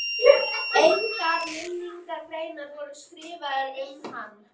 Engar minningargreinar voru skrifaðar um hann.